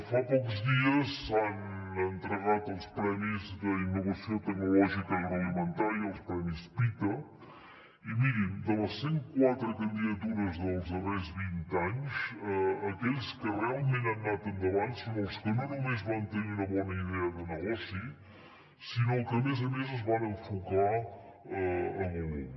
fa pocs dies s’han entregat els premis d’innovació tecnològica agroalimentària els premis pita i mirin de les cent quatre candidatures dels darrers vint anys aquells que realment han anat endavant són els que no només van tenir una bona idea de negoci sinó que a més a més es van enfocar a volum